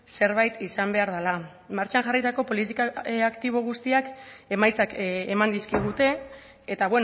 zerbait izan behar dela martxan jarritako politika aktibo guztiak emaitzak eman dizkigute eta